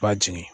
B'a jigin